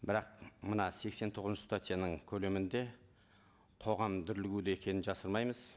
бірақ мына сексен тоғызыншы статьяның көлемінде қоғам екенін жасырмаймыз